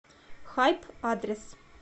хайп адрес